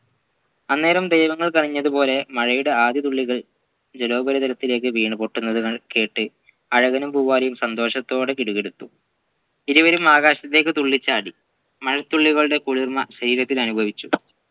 അന്നേരം ദൈവങ്ങൾ കനിഞ്ഞത് പോലെ മഴയുടെ ആദ്യ തുള്ളികൾ ജല ഉപരിതരത്തിലേക് വീണുപൊട്ടുന്നതു ക കേട്ട് അഴകനും പൂവാലിയും സന്തോഷത്തോടെ കിടുകിടുത്തു ഇരുവരും ആകാശത്തേക്കു തുള്ളിച്ചാടി മഴത്തുള്ളികളുടെ കുളിർമ ശരീരത്തിൽ അനുഭവിച്ചു